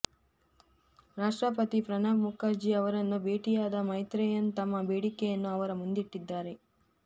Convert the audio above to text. ರಾಷ್ಟ್ರಪತಿ ಪ್ರಣಬ್ ಮುಖರ್ಜಿ ಅವರನ್ನು ಭೇಟಿಯಾದ ಮೈತ್ರೆಯನ್ ತಮ್ಮ ಬೇಡಿಕೆಯನ್ನು ಅವರ ಮುಂದಿಟ್ಟಿದ್ದಾರೆ